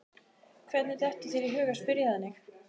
Hvernig dettur þér í hug að spyrja þannig?